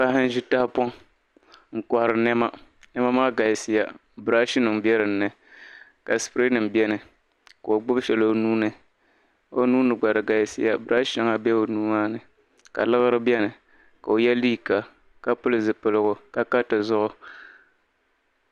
Paɣa n-ʒi tahapɔŋ n-kɔhiri nɛma. Nɛma maa galisiya biraashinima be dinni ka sipireenima beni ka o gbibi shɛli o nuu ni. O nuu ni gba di galisiya biraashi shɛŋa be o nuu maa ni ka liɣiri beni ka o ye liika ka pili zipiligu ka ka tizuɣu.